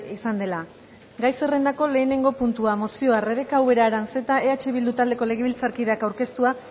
izan dela gai zerrendako lehenengo puntua mozioa rebeka ubera aranzeta eh bildu taldeko legebiltzarkideak aurkeztua